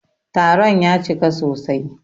Taron ya cika sosai.